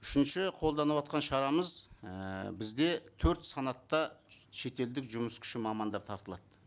үшінші қолданыватқан шарамыз ііі бізде төрт санатты шетелдік жұмыс күші мамандар тартылады